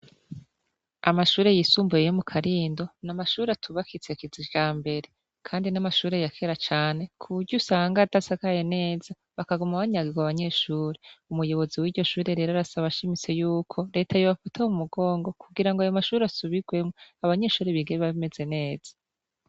Amashuri yisumbuye yo mu Karindo ,n'amashuri atubakitse kijambere kandi n'amashuri yakera cane kubury'usanga dasakaye neza bakagama banyagiwo abanyeshuri umuyobozi w'iryoshuri rero arasaba ashimise y'uko Leta yobafa mumugongo kugira ngo ayo mashuri asubirwemo abanyeshuri bige bameze neza.